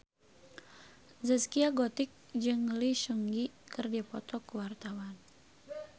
Zaskia Gotik jeung Lee Seung Gi keur dipoto ku wartawan